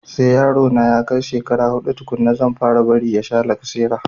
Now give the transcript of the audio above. Sai yaro na ya kai shekara huɗu tukunna zan fara bari ya sha lacasera